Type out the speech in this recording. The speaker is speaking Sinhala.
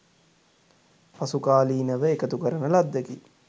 පසුකාලීනව එකතු කරන ලද්දකි.